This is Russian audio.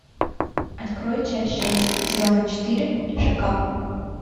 открой часть шесть сезона четыре шакал